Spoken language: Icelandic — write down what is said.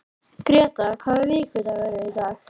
Gréta, hvaða vikudagur er í dag?